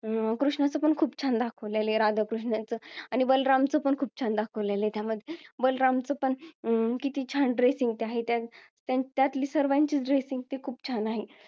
कृष्णाचा पण खूप छान दाखवलेला आहे आणि राधा कृष्णाचं आणि बलरामच पण खूप छान दाखवलेला आहे बलराम च पण किती छान ड dressing ते आहे आणि त्यातली सर्वांचीच dressing खूप छान आहे